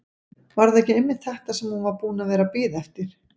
Var það ekki einmitt þetta sem hún var búin að vera að bíða eftir?